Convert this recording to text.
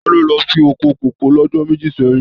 Tade lọ sí oko kókó l'ọjọ́ méjì sẹyìn.